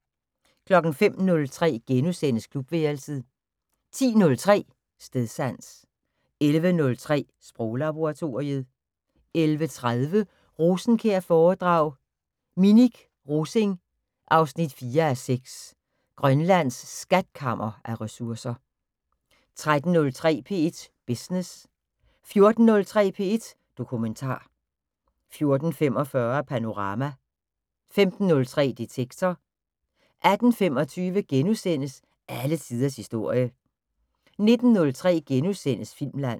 05:03: Klubværelset * 10:03: Stedsans 11:03: Sproglaboratoriet 11:30: Rosenkjær-foredrag: Minik Rosing 4:6 - Grønlands skatkammer af ressourcer 13:03: P1 Business 14:03: P1 Dokumentar 14:45: Panorama 15:03: Detektor 18:25: Alle tiders historie * 19:03: Filmland *